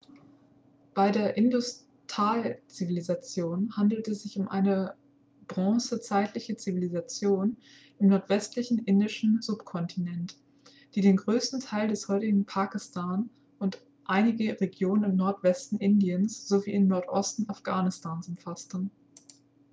bei der indus-tal-zivilisation handelt es sich um eine bronzezeitliche zivilisation im nordwestlichen indischen subkontinent die den größten teil des heutigen pakistan und einige regionen im nordwesten indiens sowie im nordosten afghanistans umfasste